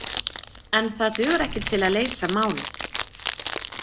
En það dugar ekki til að leysa málið.